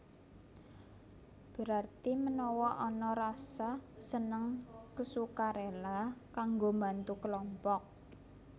Berarti menawa ana rasa seneng ksukarela kanggo mbantu kelompok